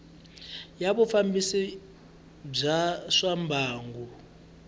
ya vufambisi bya swa mbangu